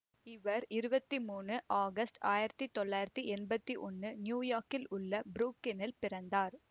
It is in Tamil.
இவர் இருவத்தி மூனு ஆகஸ்ட் ஆயிரத்தி தொள்ளாயிரத்தி எம்பத்தி ஒன்னு யூயார்க்கில் உள்ள புரூக்ளினில் பிறந்தார்